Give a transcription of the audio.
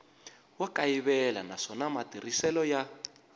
wa kayivela naswona matirhiselo ya